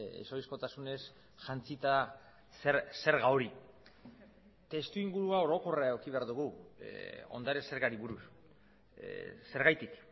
ez ohizkotasunez jantzita zerga hori testu ingurua orokorra eduki behar dugu ondare zergari buruz zergatik